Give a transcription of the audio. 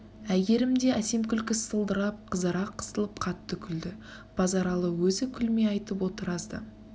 әйгерім де әсем күлкісі сылдырап қызара қысылып қатты күлді базаралы өзі күлмей айтып отыр аз да